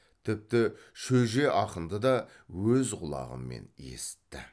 тіпті шөже ақынды да өз құлағымен есітті